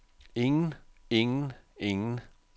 ingen ingen ingen